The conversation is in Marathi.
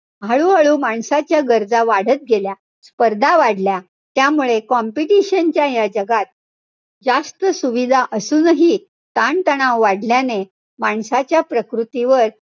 हळूहळू माणसाच्या गरजा वाढत गेल्या. स्पर्धा वाढल्या. त्यामुळे competition च्या या जगात, जास्त सुविधा असूनही ताणतणाव वाढल्याने माणसाच्या प्रकृतीवर,